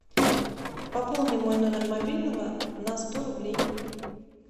пополни мой номер мобильного на сто рублей